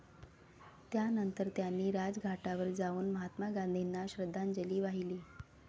त्यानंतर त्यांनी राजघाटावर जाऊन महात्मा गांधींना श्रद्धांजली वाहिली.